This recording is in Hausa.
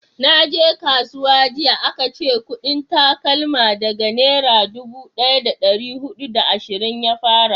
naje kasuwa jiya a ka ce kudin takalma daga nera dubu daya da dari hudu da ashirin ya fara